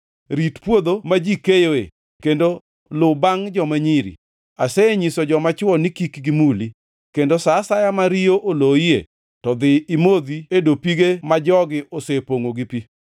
Rit puodho ma ji keyoe, kendo lu bangʼ joma nyiri. Asenyiso joma chwo ni kik gimuli. Kendo sa asaya ma riyo oloyie to dhi imodhi e dopige ma jogi osepongʼo gi pi.”